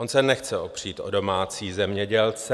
On se nechce opřít o domácí zemědělce.